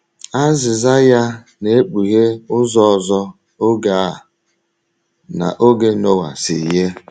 Azịza ya na - ekpughe ụzọ ọzọ oge a na oge Noa si yie.